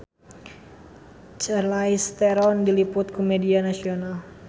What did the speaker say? Charlize Theron diliput ku media nasional